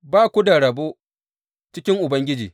Ba ku da rabo cikin Ubangiji.’